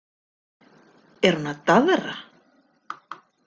Er hún að daðra?